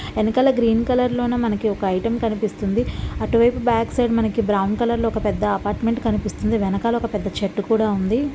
ఎనకాల green colour లోన మనకి ఒక ఐటెం కనిపిస్తుంది అటు వైపు బాక్ సైడ్ మనకి బ్రౌన్ కలర్ లో ఒక పెద్ద అపార్ట్ మెంట్ కనిపిస్తుంది వెనకల ఒక పెద్ద చెట్టు కూడా ఉంది.